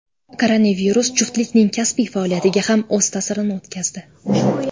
Koronavirus juftlikning kasbiy faoliyatiga ham o‘z ta’sirini o‘tkazdi.